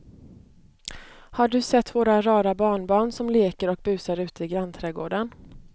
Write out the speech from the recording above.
Har du sett våra rara barnbarn som leker och busar ute i grannträdgården!